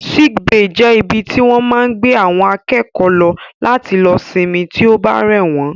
Sick bay jẹ́ ibi tí wọ́n máa ń gbé àwọn akẹ́kọ̀ọ́ lọ láti lọ sinmi tí ó bá rẹ̀ wọ́n